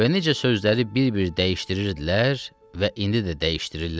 Və necə sözləri bir-bir dəyişdirirdilər və indi də dəyişdirirlər.